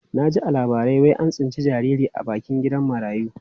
Na ji a labarai wai an tsinci jariri a bakin gidan marayu.